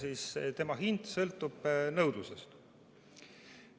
See sõltub nõudlusest.